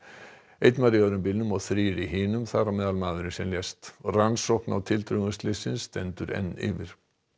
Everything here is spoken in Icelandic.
einn var í öðrum bílnum og þrír í hinum þar á meðal maðurinn sem lést rannsókn á tildrögum slyssins stendur enn yfir